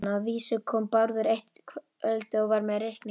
Að vísu kom Bárður eitt kvöldið og var með reikning.